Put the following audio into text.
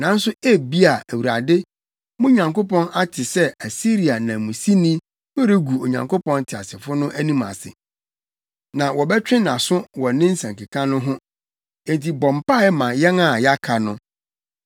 Nanso ebia Awurade, mo Nyankopɔn ate sɛ Asiria nanmusini no regu Onyankopɔn teasefo no anim ase, na wɔbɛtwe nʼaso wɔ ne nsɛnkeka no ho. Enti bɔ mpae ma yɛn a yɛaka no!”